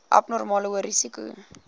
abnormale hoë risiko